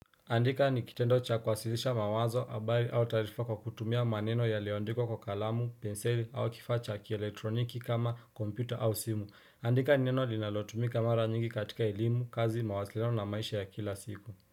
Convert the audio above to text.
Andika nikitendocha kuwasilisha mawazo habari au taarifa kwa kutumia maneno ya liyoandikwa kwa kalamu, penseli au kifaa cha kieletroniki kama kompyuta au simu. Andika ni neno linalotumika mara nyingi katika elimu, kazi, mawasiliano na maisha ya kila siku.